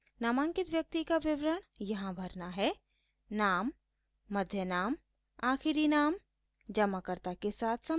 नामांकित व्यक्ति का विवरण यहाँ भरना है